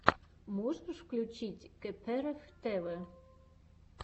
можешь включить кэпээрэф тэвэ